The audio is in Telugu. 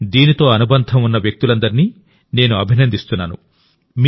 దీనితో అనుబంధం ఉన్న వ్యక్తులందరినీ నేను అభినందిస్తున్నాను